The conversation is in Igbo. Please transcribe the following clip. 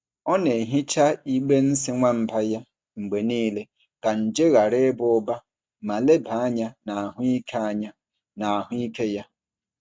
Ọ na-ehicha igbe nsị nwamba ya mgbe niile ka nje ghara ịba ụba ma leba anya na ahụike anya na ahụike ya.